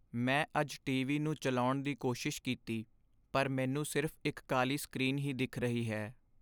ਮੈਂ ਅੱਜ ਟੀਵੀ ਨੂੰ ਚੱਲਾਉਣ ਦੀ ਕੋਸ਼ਿਸ਼ ਕੀਤੀ ਪਰ ਮੈਂਨੂੰ ਸਿਰਫ਼ ਇੱਕ ਕਾਲੀ ਸਕ੍ਰੀਨ ਹੀ ਦਿੱਖ ਰਹੀ ਹੈ